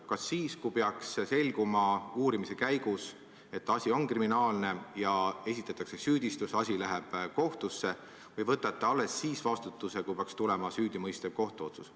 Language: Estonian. Kas siis, kui peaks selguma uurimise käigus, et asi on kriminaalne ja esitatakse süüdistus, asi läheb kohtusse, või võtate alles siis vastutuse, kui peaks tulema süüdimõistev kohtuotsus?